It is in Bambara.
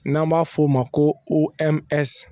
N'an b'a f'o ma ko